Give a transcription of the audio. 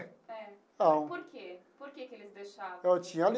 É, por quê por que que eles deixavam? Eu tinha